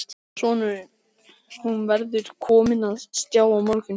Sonurinn: Hún verður komin á stjá á morgun.